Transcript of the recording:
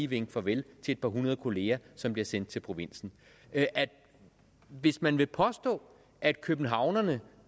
vinke farvel til et par hundrede kolleger som bliver sendt til provinsen hvis man vil påstå at københavnerne